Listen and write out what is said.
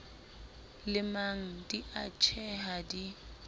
lemang di a tjheha di